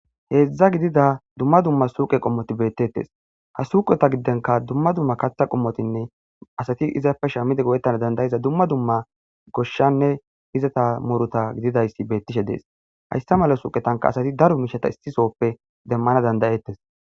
heedzdza gidida dumma dumma suqe qommoti beettettes ha suqota giddenka dumma dumma katha qommotinne asati izapfe shaamide go7ettana dandayiza dumma dumma goshshanne izata morota gididayssi beettishe dees hayssa mala suuqetanka asati daro miishata issisoppe demmana dandayettes